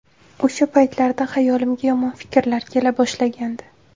O‘sha paytlarda xayolimga yomon fikrlar kela boshlagandi.